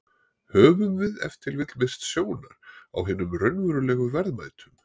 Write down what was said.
Höfum við ef til vill misst sjónar á hinum raunverulegu verðmætum?